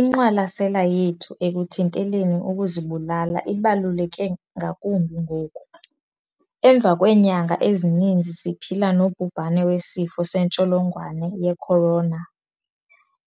"Inqwalasela yethu ekuthinteleni ukuzibulala ibaluleke ngakumbi ngoku, emva kweenyanga ezininzi siphila nobhubhane weSifo sentsholongwane ye-Corona,